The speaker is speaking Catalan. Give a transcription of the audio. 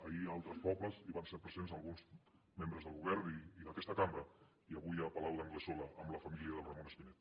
ahir a altres pobles hi van ser presents alguns membres del govern i d’aquesta cambra i avui a palau d’anglesola amb la família de ramon espinet